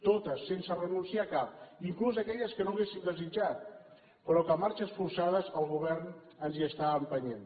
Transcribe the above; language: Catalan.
totes sense renunciar a cap inclús aquelles que no hauríem desitjat però que a marxes forçades el govern ens hi està empenyent